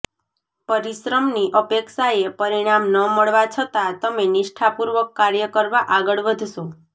પરિશ્રમની અપેક્ષાએ પરિણામ ન મળવા છતાં તમે નિષ્ઠાપૂર્વક કાર્ય કરવા આગળ વધશો